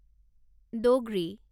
ড'গ্ৰী